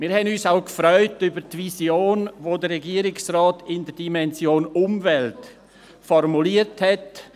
Und wir haben uns auch über die Vision gefreut, die der Regierungsrat in der Dimension Umwelt formuliert hat: